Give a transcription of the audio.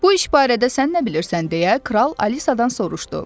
Bu iş barədə sən nə bilirsən deyə kral Alisadan soruşdu.